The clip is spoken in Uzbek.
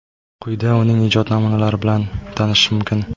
Quyida uning ijod namunalari bilan tanishish mumkin.